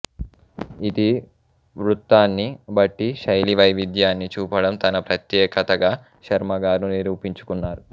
ఇతివృత్తాన్ని బట్టి శైలీ వైవిధ్యాన్ని చూపడం తన ప్రత్యేకతగా శర్మగారు నిరూపించుకున్నారు